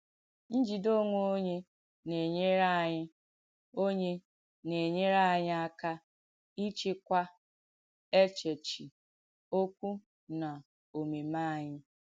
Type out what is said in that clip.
Ǹjìdè ònwè onyè nà-ènyèrè ànyị̣ onyè nà-ènyèrè ànyị̣ àkà ìchị̀kwá èchèchí, òkwú, nà òmèmé ànyị̣.